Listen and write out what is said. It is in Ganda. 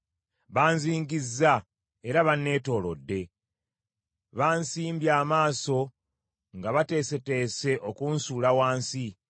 Banzingizza era banneetoolodde; bansimbye amaaso nga beeteeseteese okunsuula wansi.